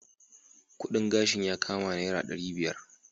Kudin gashin yakama naira dari biyar.